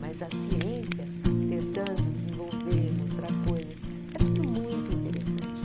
Mas a ciência tentando desenvolver, mostrar coisas, é tudo muito interessante.